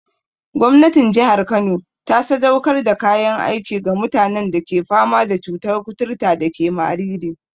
Gwamnatin jihar Kano ta sadaukar da kayan aiki ga mutanen da ke fama da cutar kuturta dake Mariri.